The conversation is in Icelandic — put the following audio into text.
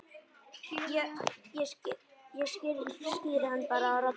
Ég skíri hann bara Rolu.